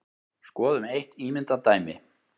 Skoðum eitt ímyndað dæmi.